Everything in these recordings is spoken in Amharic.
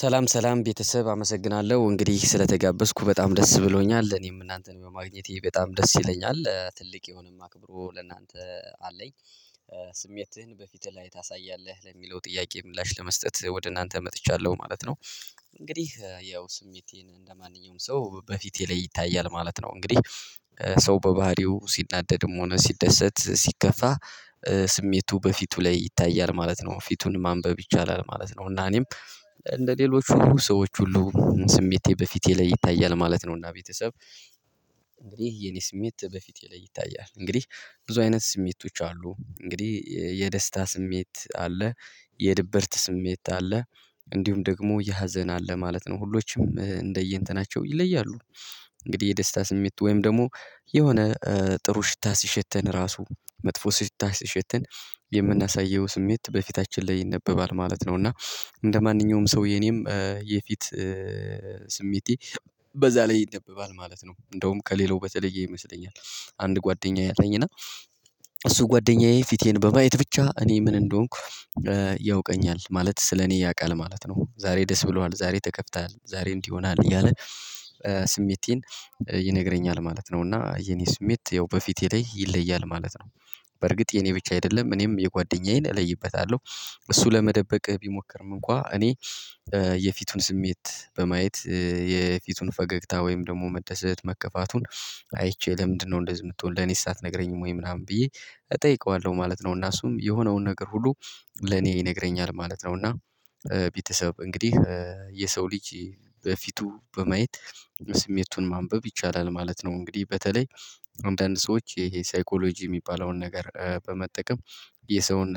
ሰላም ሰላም ቤተሰብ አመሰግናለሁ እንግዲህ ስለተጋበዝኩ በጣም ደስ ብሎኛል። እኔም እናንተን በማግኘቴ በጣም ደስ ይለኛል። ትልቅ የሆነም አክብሮ ለእናንተ አለኝ። "ስሜትህን በፊትህ ላይ ታሳያለህ?" ለሚለው ጥያቄ ምላሽ ለመስጠት ወደ እናንተ መጥቻለሁ ማለት ነው። እንግዲህ ያው ስሜቴን እንደማንኛውም ሰው በፊቴ ላይ ይታያል ማለት ነው። እንግዲህ ሰው በባህሪው ሲናደድም ሆነ ሲደሰት ሲከፋ ስሜቱ በፊቱ ላይ ይታያል ማለት ነው። ፊቱን ማንበብ ይቻላል ማለት ነው፤ እና እኔም እንደሌሎቹ ሰዎች ሁሉ ስሜቴ በፊቴ ላይ ይታያል ማለት ነው፤ እና ቤተሰብ ይህ የኔ ስሜት በፊት ላይ ይታያል። እንግዲህ ብዙ አይነት ስሜቶች አሉ። እንግዲህ የደስታ ስሜት አለ። የድብርት ስሜት አለ። እንዲሁም ደግሞ የሀዘን አለ ማለት ነው። ሁሎችም እንደየእንትናቸው ይለያሉ። እንግዲህ የደስታ ስሜት ወይም ደግሞ የሆነ ጥሩ ሽታ ሲሸተን ራሱ መጥፎ ሲታሸተን የምናሳየው ስሜት በፊታችን ላይ ይነበባል ማለት ነው እና እንደማንኛውም ሰው የኔም የፊት ስሜቴ በዛ ላይ ይነበባል ማለት ነው። እንደውም ከሌላው በተለየ ይመስለኛል። አንድ ጓደኛዬ አለኝ እና እሱ ጓደኛዬ ፊቴን በማየት ብቻ እኔ ምን እንደሆንኩ ያውቀኛል ማለት ስለኔ ያውቃል ማለት ነው። ዛሬ ደስ ብሎሃል፣ ዛሬ ተከፍተሃል፣ ዛሬ እንዲህ ሆነሃል፣ እያለ ስሜቴን ይነግረኛል ማለት ነው፤ እና የኔ ስሜት ያው በፊቴ ላይ ይለያል ማለት ነው። በርግጥ የኔ ብቻ አይደለም እኔም የጓደኛዬን እለይበታለሁ። እሱ ለመደበቅህ ቢሞክርም እንኳን እኔ የፊቱን ስሜት በማየት የፊቱን ፈገግታ ወይም ደግሞ መደሰት መከፋቱን አይቼ ለምንድነው እንደዚህ የምትሆን ለኔስ አትነግረኝም ወይ ምናምን ብዬ እጠይቀዋለሁ ማለት ነው፤ እና እሱም የሆነውን ነገር ሁሉ ለኔ ይነግረኛል ማለት ነው፤ እና ቤተሰብ እንግዲህ የሰው ልጅ በፊቱ በማየት ስሜቱን ማንበብ ይቻላል ማለት ነው። እንግዲህ በተለይ አንዳንድ ሰዎች ይሄ ሳይኮሎጂ የሚባለውን ነገር በመጠቀም የሰውን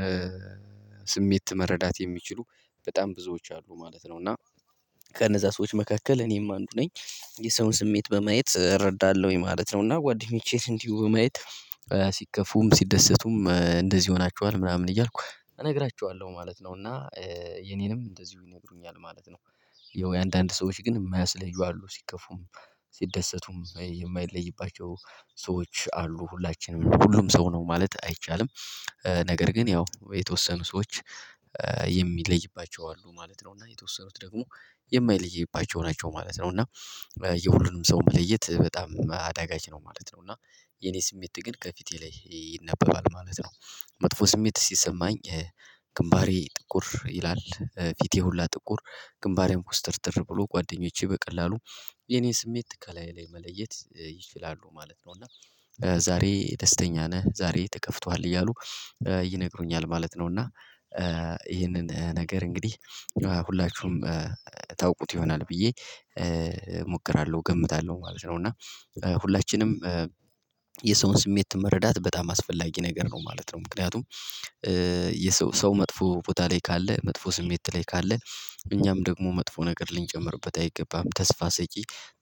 ስሜት መረዳት የሚችሉ በጣም ብዙዎች አሉ ማለት ነው፤ እና ከነዛ ሰዎች መካከል እኔም አንዱ ነኝ። የሰውን ስሜት በማየት እረዳለሁኝ ማለት ነው፤ እና ጓደኞቼን እንዲሁ በማየት ሲከፉም ሲደሰቱም እንደዚህ ሆናችኋል ምናምን እያልኩ እነግራቸዋለሁ ማለት ነው፤ እና የኔንም እንደዚሁ ይነግሩኛል ማለት ነው። ያው የአንዳንድ ሰዎች ግን የማያስለዩ አሉ። ሲከፉም ሲደሰቱም የማይለይባቸው ሰዎች አሉ ሁላችንም ሁሉም ሰው ነው ማለት አይቻልም። ነገር ግን ያው የተወሰኑ ሰዎች የሚለይባቸው አሉ ማለት ነው፤ እና የተወሰኑት ደግሞ የማይለይባቸው ናቸው ማለት ነው፤ እና የሁሉንም ሰው መለየት በጣም አዳጋች ነው ማለት ነው፤ እና የኔ ስሜት ግን ከፊቴ ላይ ይነበባል ማለት ነው። መጥፎ ስሜት ሲሰማኝ ግንባሬ ጥቁር ይላል ፊቴ ሁላ ጥቁር ግንባሬም ኩስትርትር ብሎ ጓደኞቼ በቀላሉ የኔን ስሜት ከላዬ ላይ መለየት ይችላሉ ማለት ነው፤ እና ዛሬ ደስተኛ ነህ ዛሬ ተከፍቶሃል እያሉ ይነግሩኛል ማለት ነው፤ እና ይህንን ነገር እንግዲህ ሁላችሁም ታውቁት ይሆናል ብዬ እሞክራለሁ እገምታለሁ ማለት ነው፤ እና ሁላችንም የሰውን ስሜት መረዳት በጣም አስፈላጊ ነገር ነው ማለት ነው። ምክንያቱም የሰው ሰው መጥፎ ቦታ ላይ ካለ መጥፎ ስሜት ላይ ካለ እኛም ደግሞ መጥፎ ነገር ልንጨምርበት አይገባም። ተስፋ ሰጪ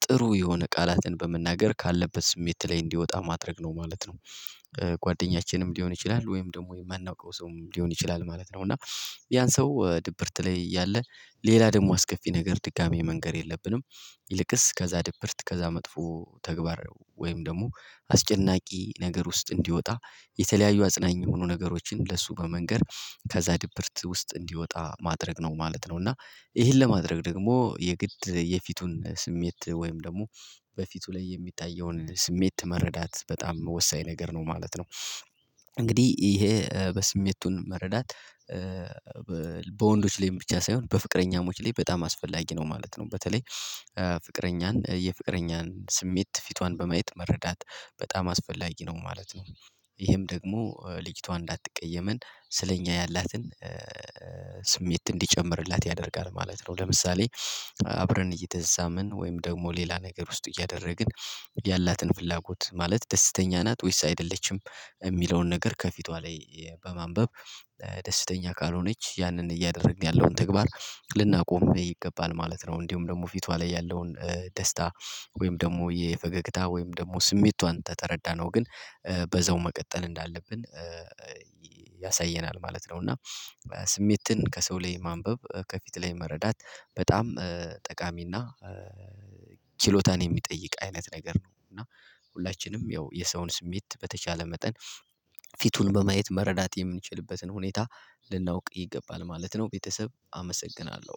ጥሩ የሆነ ቃላትን በመናገር ካለበት ስሜት ላይ እንዲወጣ ማድረግ ነው ማለት ነው። ጓደኛችንም ሊሆን ይችላል ወይም ደግሞ የማናውቀው ሰውም ሊሆን ይችላል ማለት ነው፤ እና ያን ሰው ድብርት ላይ እያለ ሌላ ደግሞ አስከፊ ነገር ድጋሚ መንገር የለብንም። ይልቅስ ከዛ ድብርት ከዛ መጥፎ ተግባር ወይም ደግሞ አስጨናቂ ነገር ውስጥ እንዲወጣ የተለያዩ አጽናኝ የሆኑ ነገሮችን ለሱ በመንገር ከዛ ድብርት ውስጥ እንዲወጣ ማድረግ ነው ማለት ነው፤ እና ይሄን ለማድረግ ደግሞ የግድ የፊቱን ስሜት ወይም ደግሞ በፊቱ ላይ የሚታየውን ስሜት መረዳት በጣም ወሳኝ ነገር ነው ማለት ነው። እንግዲህ ይሄ በስሜቱን መረዳት በወንዶች ላይም ብቻ ሳይሆን በፍቅረኛሞች ላይ በጣም አስፈላጊ ነው ማለት ነው። በተለይ ፍቅረኛን የፍቅረኛን ስሜት ፊቷን በማየት መረዳት በጣም አስፈላጊ ነው ማለት ነው። ይሄም ደግሞ ልጅቷ እንዳትቀየመን ስለኛ ያላትን ስሜት እንዲጨምርላት ያደርጋል ማለት ነው። ለምሳሌ አብረን እየተሳሳምን ወይም ደግሞ ሌላ ነገር ውስጥ እያደረግን ያላትን ፍላጎት ማለት ደስተኛ ናት ወይስ አይደለችም የሚለውን ነገር ከፊቷ ላይ በማንበብ ደስተኛ ካልሆነች ያንን እያደረግን ያለውን ተግባር ልናቆም ይገባል ማለት ነው። እንዲሁም ደግሞ ፊቷ ላይ ያለውን ደስታ ወይም ደግሞ የፈገግታ ወይም ደግሞ ስሜቷን ተተረዳነው ግን በዛው መቀጠል እንዳለብን ያሳየናል ማለት ነው፤ እና ስሜትን ከሰው ላይ ማንበብ ከፊት ላይ መረዳት በጣም ጠቃሚና ችሎታን የሚጠይቅ አይነት ነገር ነው፤ እና ሁላችንም ያው የሰውን ስሜት በተቻለ መጠን ፊቱን በማየት መረዳት የምንችልበትን ሁኔታ ልናውቅ ይገባል ማለት ነው ቤተሰብ አመሰግናለሁ።